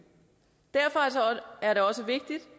derfor er det også vigtigt